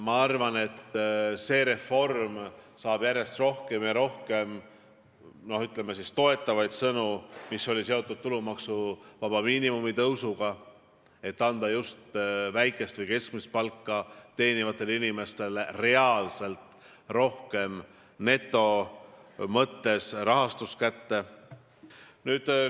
Ma arvan, et tulumaksuvaba miinimumi tõusuga seotud reform, mis annab just väikest või keskmist palka teenivatele inimestele reaalselt rohkem neto mõttes raha kätte, saab järjest rohkem ja rohkem toetavaid sõnu.